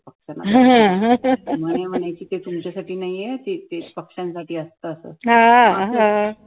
म्हणे म्हणायची कि तुमच्या साठी नाहीये ते ते पक्षांसाठी असत